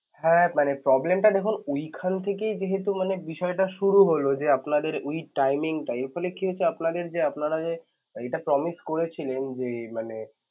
হ্যাঁ মানে problem টা যখন ওইখান থেকে যেহেতু মানে বিষয় টা শুরু হল যে আপনাদের week timing টাই ওইখানে কিন্তু আপনাদের যে আপনারা যে এইটা promise করেছিলেন যে মানে~